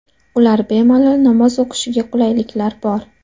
Ular bemalol namoz o‘qishiga qulayliklar bor.